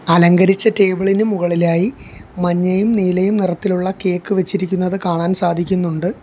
അലങ്കരിച്ച ടേബിൾ ഇന് മുകളിലായി മഞ്ഞയും നീലയും നിറത്തിലുള്ള കേക്ക് വച്ചിരിക്കുന്നത് കാണാൻ സാധിക്കുന്നുണ്ട്.